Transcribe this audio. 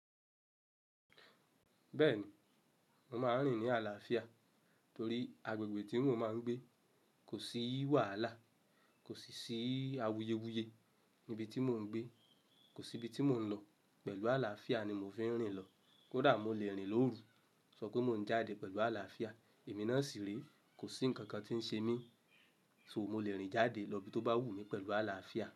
Bẹ́ẹ̀ni, mo máa ń rìn ní àlàáfíà torí agbègbè tí mò ń gbé kò sí wàhálà, kò sì ṣì awuyewuye. Ibi tí mò ń gbé. Kò sí ibi tí mò ń lọ, pẹ̀lú àlàáfíà ni mo fi ń rìn lọ. Kódà mo le rìn lóru, sọ pé mò ń jáde pẹ̀lú àlàáfíà, èmi náà sì rè, kò sí ǹkan kan tí ń ṣe mí. So mo le rìn jáde lọ ibi tó bá wù mí pẹ̀lú àlàáfíà.